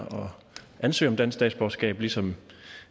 ansøge om dansk statsborgerskab ligesom